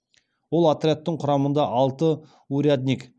ол отрядтың құрамында алты урядник